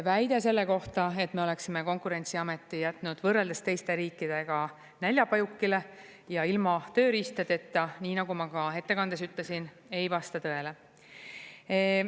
Väide selle kohta, et me oleksime Konkurentsiameti jätnud võrreldes teiste riikidega näljapajukile ja ilma tööriistadeta, nii nagu ma ka ettekandes ütlesin, ei vasta tõele.